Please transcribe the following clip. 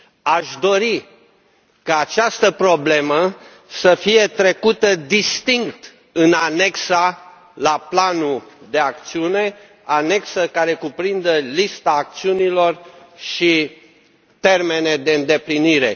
Aș dori ca această problemă să fie trecută distinct în anexa la planul de acțiune, anexă care cuprinde lista acțiunilor și termene de îndeplinire.